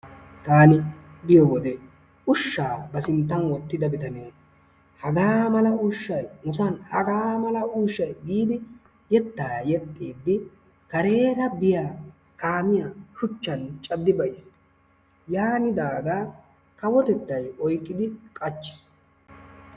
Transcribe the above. Taani biyo wode ushshaa ba sinttan wottida bitane hagaa mala ushshay nusan hagaa mala ushshay giidi yettaa yexxiidi kareera biya kaamiya shuchchan caddi beyiis. Yaanidaagaa kawotettaay oyqqidi qachchiis.